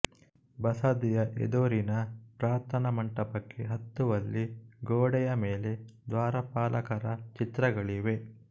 ಬಸದಿಯ ಎದುರಿನ ಪ್ರಾರ್ಥನಾ ಮಂಟಪಕ್ಕೆ ಹತ್ತುವಲ್ಲಿ ಗೋಡಯ ಮೇಲೆ ದ್ವಾರಪಾಲಕರ ಚಿತ್ರಗಳಿವೆ